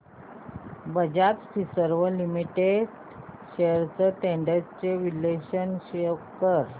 Bajaj Finserv limited shares trends चे विश्लेषण show कर